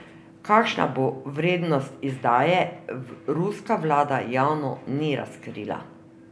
Kakšna bo vrednost izdaje, ruska vlada javno ni razkrila.